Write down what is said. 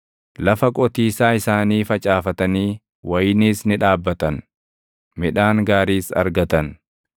Lafa qotiisaa isaanii facaafatanii wayiniis ni dhaabbatan; midhaan gaariis argatan.